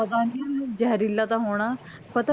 ਪਤਾ ਨਹੀਂ ਜਹਿਰੀਲਾ ਤਾਂ ਹੋਣਾ